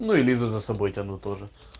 лизун с тобой там тоже